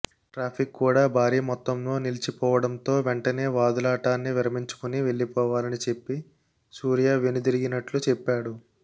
traffic కూడా భారీ మొత్తంలో నిలిచిపోవడంతో వెంటనే వాదులాడటాన్ని విరమించుకొని వెళ్లిపోవాలని చెప్పి సూర్య వెనుదిరిగినట్లు చెప్పాడు